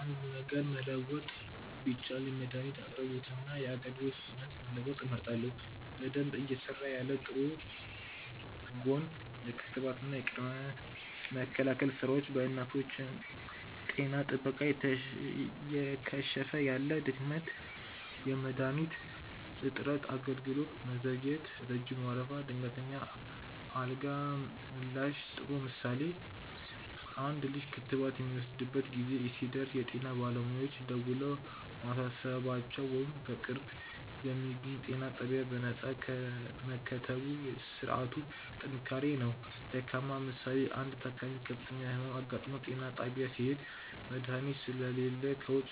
.አንድ ነገር መለወጥ ቢቻል የመድኃኒት አቅርቦትንና የአገልግሎት ፍጥነትን መለወጥ እመርጣለሁ። በደንብ እየሰራ ያለ (ጥሩ ጎን) .የክትባትና የቅድመ መከላከል ሥራዎች .የእናቶች ጤና ጥበቃ እየከሸፈ ያለ (ድክመት) .የመድኃኒት እጥረት .የአገልግሎት መዘግየት (ረጅም ወረፋ) .የድንገተኛ አደጋ ምላሽ ጥሩ ምሳሌ፦ አንድ ልጅ ክትባት የሚወስድበት ጊዜ ሲደርስ የጤና ባለሙያዎች ደውለው ማሳሰባቸው ወይም በቅርብ በሚገኝ ጤና ጣቢያ በነፃ መከተቡ የሥርዓቱ ጥንካሬ ነው። ደካማ ምሳሌ፦ አንድ ታካሚ ከፍተኛ ሕመም አጋጥሞት ጤና ጣቢያ ሲሄድ፣ መድኃኒት ስለሌለ ከውጭ